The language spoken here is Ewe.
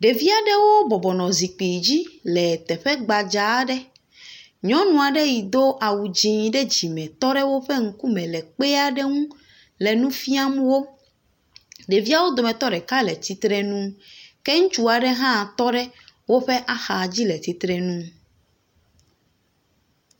Ɖevia ɖewo bɔbɔnɔ zikpui dzi le teƒe gbadza aɖe. Nyɔnu aɖe yi do awu dzi ɖe dzime tɔ ɖe woƒe ŋku me le kpe aɖe ŋu le nu fiam wo. Deviawo dometɔ ɖeka le tsitre nu ke ŋutsu aɖe hã tɔ ɖe woƒe axa dzi le tsitre nu.